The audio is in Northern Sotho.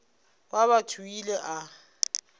wa batho o ile a